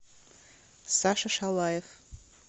саша шалаев